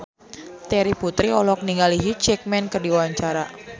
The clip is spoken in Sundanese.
Terry Putri olohok ningali Hugh Jackman keur diwawancara